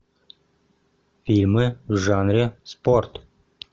фильмы в жанре спорт